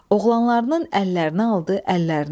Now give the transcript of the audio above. Oğlanlarının əllərinə aldı əllərinə.